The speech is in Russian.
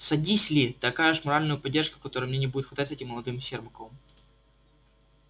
садись ли ты окажешь моральную поддержку которой мне не будет хватать с этим молодым сермаком